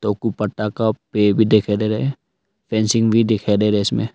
टोकू पत्ता का पेड़ भी दिखाई दे रहा है फेंसिंग भी दिखाई दे रहा है इसमें।